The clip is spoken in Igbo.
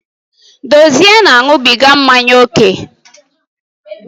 Dozie na-aṅụbiga mmanya ókè